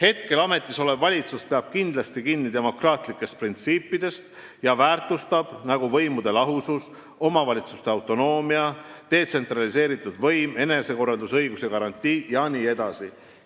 Praegu ametis olev valitsus peab kindlasti kinni demokraatlikest printsiipidest ja väärtustest, nagu võimude lahusus, omavalitsuste autonoomia, detsentraliseeritud võim, enesekorraldusõiguse garantii jne.